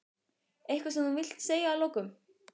Eitthvað sem þú vilt segja að lokum?